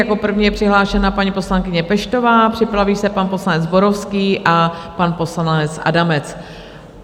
Jako první je přihlášená paní poslankyně Peštová, připraví se pan poslanec Zborovský a pan poslanec Adamec.